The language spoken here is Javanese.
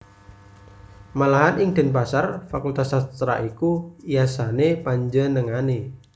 Malahan ing Denpasar fakultas sastra iku yasané panjenengané